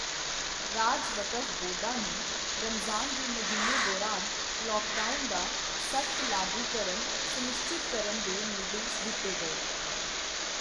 ਰਾਜ ਵਕਫ਼ ਬੋਰਡਾਂ ਨੂੰ ਰਮਜ਼ਾਨ ਦੇ ਮਹੀਨੇ ਦੌਰਾਨ ਲੌਕਡਾਊਨ ਦਾ ਸਖ਼ਤ ਲਾਗੂਕਰਨ ਸੁਨਿਸ਼ਚਿਤ ਕਰਨ ਦੇ ਨਿਰਦੇਸ਼ ਦਿੱਤੇ ਗਏ।